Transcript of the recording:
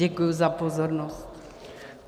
Děkuji za pozornost.